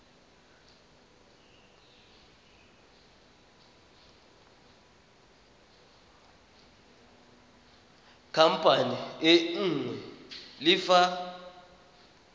khamphane e nngwe le fa